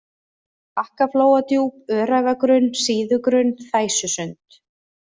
Bakkaflóadjúp, Öræfagrunn, Síðugrunn, Þæsusund